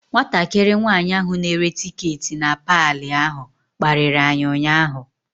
Nwatakịrị nwanyị ahụ na-ere tiketi na paalị ahụ kparịrị anyị ụnyaahụ.